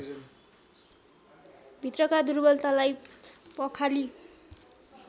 भित्रका दुर्वलतालाई पखाली